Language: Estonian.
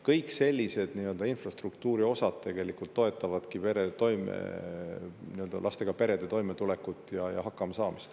Kõik sellised infrastruktuuri osad toetavadki lastega perede toimetulekut ja hakkamasaamist.